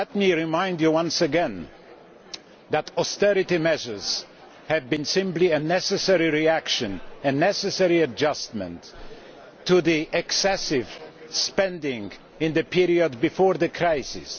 Well, let me remind you once again that austerity measures were simply a necessary reaction, a necessary adjustment to the excessive spending in the period before the crisis.